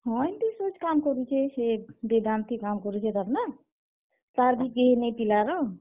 ହଁ, ହେନ୍ ତି ସୋଚ୍ କାମ କରୁଛେ ହେ ବେଦାନ୍ତ ଥି କାଣା କରୁଛେ ତ ନା, ତାର୍ ବି କେହି ନାଇଁ ପିଲା ର୍।